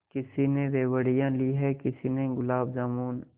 किसी ने रेवड़ियाँ ली हैं किसी ने गुलाब जामुन